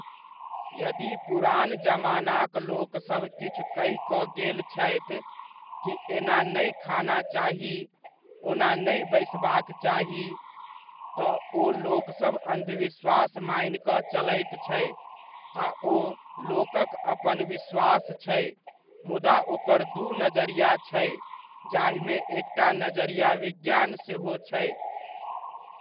यदि पुरान जमानाक लोकसभ किछु कहि कऽ गेल छथि, की एना नहि खाना चाही, ओना नहि बैसबाक चाहि ,तऽ ओ लोक अन्धविश्वास मानि कऽ चलैत छै आ ओ लोकक अपन विश्वास छै, मुदा ओकर दू नजरिया छै, जाहिमे एकटा नजरिया विज्ञान सेहो छै।